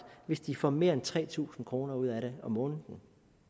hvis de får mere end tre tusind kroner ud af det om måneden